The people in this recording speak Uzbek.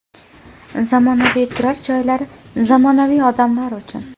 Zamonaviy turar joylar zamonaviy odamlar uchun.